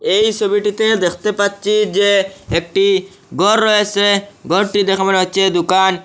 এই ছবিটিতে দেখতে পাচ্ছি যে একটি গর রয়েসে গরটি দেখে মনে হচ্ছে দুকান ।